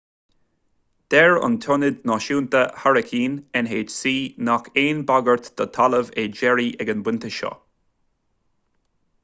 deir an tionad náisiúnta hairicín nhc nach aon bhagairt don talamh é jerry ag an bpointe seo